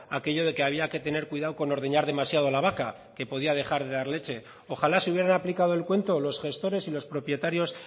aquello de que había que tener cuidado con ordeñar demasiado la vaca que podía dejar de dar leche ojala se hubieran aplicado el cuento los gestores y los propietarios